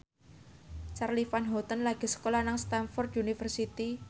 Charly Van Houten lagi sekolah nang Stamford University